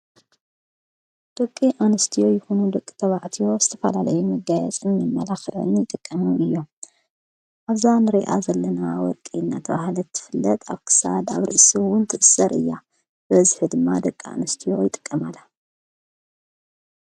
ደቂ ኣንስትዎ ይኹኑ ለቂ ተባዕትዮ ስተፋላለይ መጋየጽን መላኽወን ይጠቀሙ እዮም ኣዛን ሬኣ ዘለና ወርቂ እነት ውሃለትትፍለጥ ኣክሳድ ኣብ ርሱውን ትብሠር እያ በዝ ሕድማ ደቂ ኣንስትዎ ይጠቀማለ።